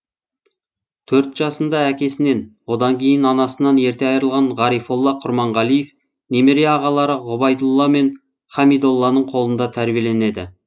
төрт жасында әкесінен одан кейін анасынан ерте айрылған ғарифолла құрманғалиев немере ағалары ғұбайдолла мен хамидолланың қолында тәрбиеленеді